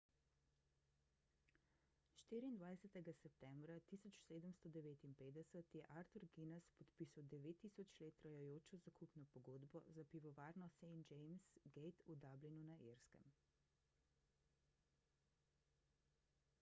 24 septembra 1759 je arthur guinness podpisal 9000 let trajajočo zakupno pogodbo za pivovarno st james' gate v dublinu na irskem